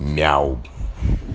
мяу